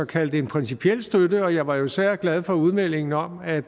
kalde en principiel støtte og jeg var især glad for udmeldingen om at at